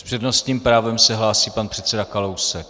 S přednostním právem se hlásí pan předseda Kalousek.